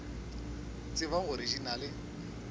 tseba gore di na le